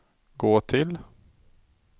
gå till